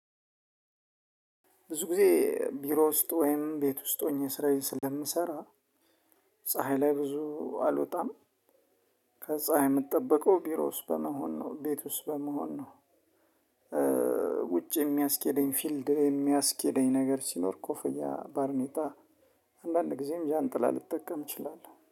ብዙ ጊዜ ቢሮ ውስጥ ወይም ቤት ውስጥ ሆኜ ስራዬ ስለምሰራ። ፀሀይ ላይ ብዙ አልወጣም። ከፀሀይ ምጠበቀው ቢሮ ውስጥ በመሆን ነው ቤት ውስጥ በመሆን ነው። ውጭ የሚያስኬደኝ ፊልድ የሚያስኬደኝ ነገር ሲኖር ኮፍያ ባርኔጣ። አንዳንድ ጊዜም ጃንጥላ ልጠቀም እችላለሁ